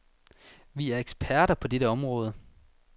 Vi er eksperter på dette område.